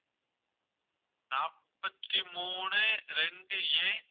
நாற்பத்தி மூணு ரெண்டு a